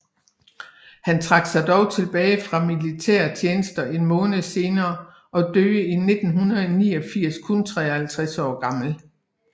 Han trak sig dog tilbage fra militære tjeneste en måned senere og døde i 1789 kun 53 år gammel